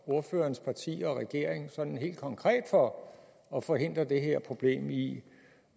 ordførerens parti og regeringen sådan helt konkret for at forhindre det her problem i